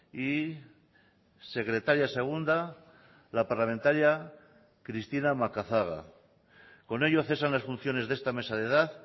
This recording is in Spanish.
y secretaria segunda la parlamentaria cristina macazaga con ello cesan las funciones de esta mesa de edad